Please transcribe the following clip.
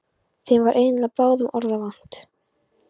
Þeim var eiginlega báðum orða vant.